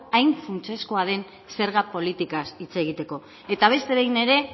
hain funtsezkoa den zerga politikaz hitz egiteko eta beste behin ere